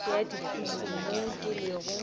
ya dipuku mo ke lego